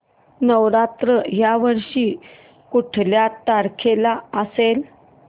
नवरात्र या वर्षी कुठल्या तारखेला असेल